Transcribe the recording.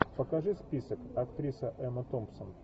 покажи список актриса эмма томпсон